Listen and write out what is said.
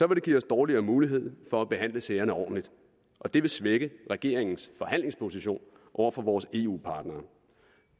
det give os dårligere mulighed for at behandle sagerne ordentligt og det vil svække regeringens forhandlingsposition over for vores eu partnere